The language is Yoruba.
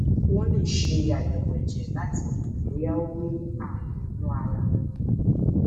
wọn lè ṣe àyẹwò ẹjẹ láti mọ bóyá ó ní ààrùn inú ara